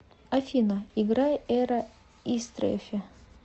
афина играй эра истрефи